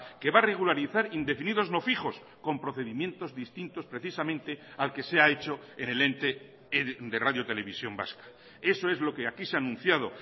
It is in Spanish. que va a regularizar indefinidos no fijos con procedimientos distintos precisamente al que se ha hecho en el ente de radio televisión vasca eso es lo que aquí se ha anunciado